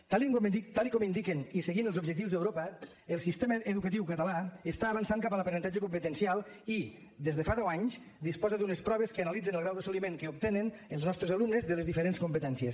tal com indiquen i seguint els objectius d’europa el sistema educatiu català està avançant cap a l’aprenentatge competencial i des de fa deu anys disposa d’unes proves que analitzen el grau d’assoliment que obtenen els nostres alumnes de les diferents competències